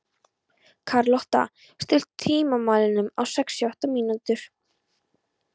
Karlotta, stilltu tímamælinn á sextíu og átta mínútur.